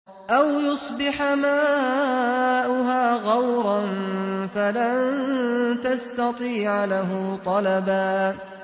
أَوْ يُصْبِحَ مَاؤُهَا غَوْرًا فَلَن تَسْتَطِيعَ لَهُ طَلَبًا